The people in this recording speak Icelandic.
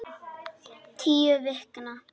Tíu vikna